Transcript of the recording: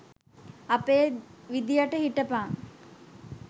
අපේ විදියට හිටපං